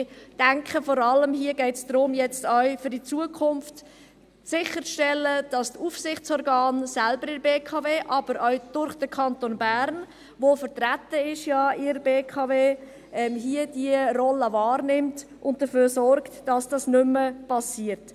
Ich denke, es geht hier vor allem darum, auch für die Zukunft sicherzustellen, dass die Aufsichtsorgane der BKW selbst, aber auch durch den Kanton Bern, der ja in der BKW vertreten ist, hier diese Rolle wahrnehmen und dafür sorgen, dass dies nicht mehr geschieht.